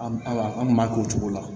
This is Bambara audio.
An aw an kun b'a k'o cogo la